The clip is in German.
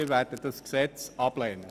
Wir werden dieses Gesetz ablehnen.